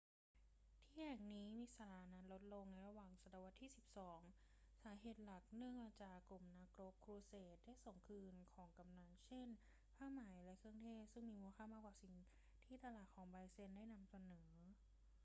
ที่แห่งนี้มีสถานะลดลงในระหว่างศตวรรษที่สิบสอง สาเหตุหลักเนื่องมาจากกลุ่มนักรบครูเสดได้ส่งคืนของกำนัล เช่น ผ้าไหมและเครื่องเทศซึ่งมีมูลค่ามากกว่าสิ่งที่ตลาดของไบแซนไทน์นำเสนอ